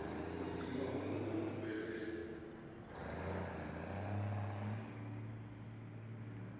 u dzima honoho hu bvelela